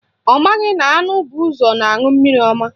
Ọ maghị na anụ bu ụzọ na-aṅụ mmiri ọma